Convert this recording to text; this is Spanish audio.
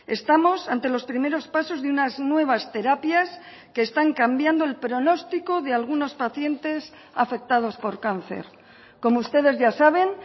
estamos ante los primeros pasos de unas nuevas terapias que están cambiando el pronóstico de algunos pacientes afectados por cáncer como ustedes ya saben